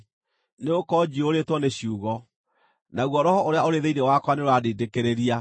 Nĩgũkorwo njiyũrĩtwo nĩ ciugo, naguo roho ũrĩa ũrĩ thĩinĩ wakwa nĩũrandindĩkĩrĩria;